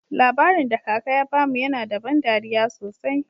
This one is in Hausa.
Labarin da kaka ya bamu yana da ban dariya sosai.